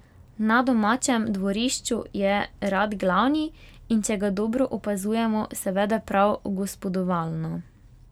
Na domačem dvorišču je rad glavni, in če ga dobro opazujemo, se vede prav gospodovalno.